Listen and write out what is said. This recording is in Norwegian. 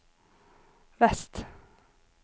vest